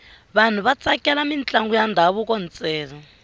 vanhu va tsakela mintlangu ya ndhavuko ntsena